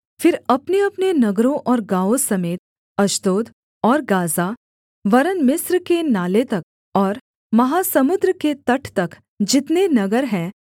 फिर अपनेअपने नगरों और गाँवों समेत अश्दोद और गाज़ा वरन् मिस्र के नाले तक और महासमुद्र के तट तक जितने नगर हैं